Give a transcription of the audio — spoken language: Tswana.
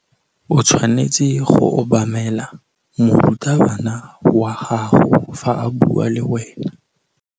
O tshwanetse go obamela morutabana wa gago fa a bua le wena.